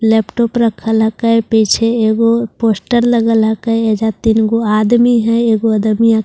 laptop रखल हैके पीछे एगो पोस्टर लगल हेके एइजा तीनगो आदमी है एगो आदमीया --